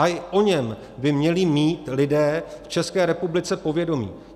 Ale i o něm by měli mít lidé v České republice povědomí.